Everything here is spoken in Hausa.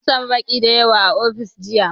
Mun sami baƙi da yawa a ofis jiya